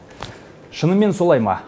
шынымен солай ма